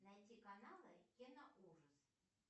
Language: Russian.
найти каналы кино ужас